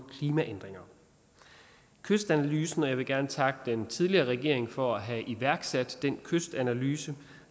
klimaændringer kystanalysen og jeg vil gerne takke den tidligere regering for at have iværksat den kystanalyse